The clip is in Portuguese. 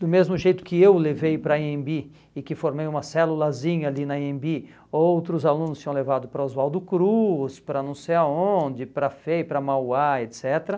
Do mesmo jeito que eu levei para a Anhembi e que formei uma celulazinha ali na Anhembi, outros alunos tinham levado para Oswaldo Cruz, para não sei aonde, para a FEI, para a Mauá, et cetera.